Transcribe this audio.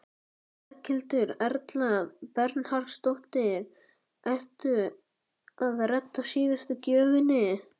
Berghildur Erla Bernharðsdóttir: Ertu að redda síðustu gjöfinni?